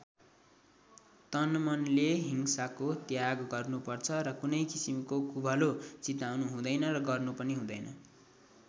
तनमनले हिंसाको त्याग गर्नुपर्छ र कुनै किसिमको कुभलो चिताउनु हुँदैन र गर्नु पनि हुँदैन।